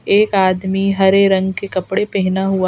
एक आदमी हरे रंग के कपड़े पेहना हुआ--